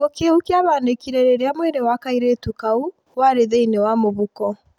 Gĩkuo kĩu kĩahanakire rĩrĩa mwiri wa kairĩtu kau waarĩ thĩininwa mũhuko